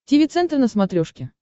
тиви центр на смотрешке